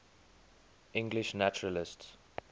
english naturalists